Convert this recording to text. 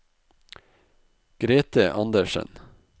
Grete Anderssen